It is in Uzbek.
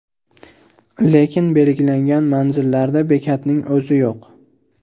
Lekin belgilangan manzillarda bekatning o‘zi yo‘q.